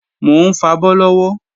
Mò ń fabọ́ lọ́wọ́